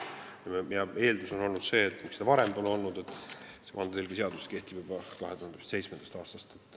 Miks seda varem pole olnud, kui vandetõlgi seadus kehtib juba 2007. aastast?